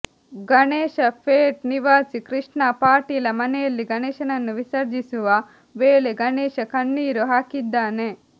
ಗಣೇಶ ಪೇಟ್ ನಿವಾಸಿ ಕೃಷ್ಣಾ ಪಾಟೀಲ ಮನೆಯಲ್ಲಿ ಗಣೇಶನನ್ನು ವಿಸರ್ಜಿಸುವ ವೇಳೆ ಗಣೇಶ ಕಣ್ಣೀರು ಹಾಕಿದ್ದಾನೆ